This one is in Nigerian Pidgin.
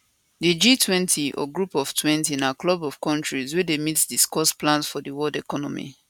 di g20 or group of twenty na club of kontris wey dey meet discuss plans for world economy